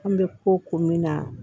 An bɛ ko ko min na